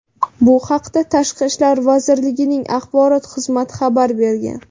Bu haqda tashqi ishlar vazirligining axborot xizmati xabar bergan .